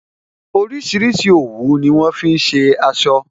Orísìírísìí òwú ni wọn fi ṣe aṣọ